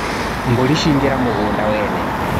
Mbũri ciaingĩra mũgũnda wene.